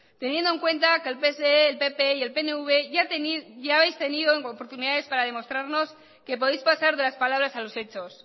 teniendo en cuenta que el pse el pp y el pnv ya habéis tenido oportunidades para demostrarnos que podéis pasar de las palabras a los hechos